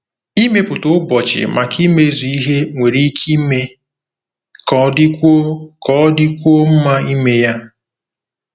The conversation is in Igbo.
Ịmepụta ụbọchị maka imezu ihe nwere ike ime ka ọ dịkwuo ka ọ dịkwuo mma ime ya.